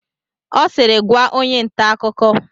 Ọ siiri, gwaa! onye nta akụkọ!